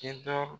Tentɔ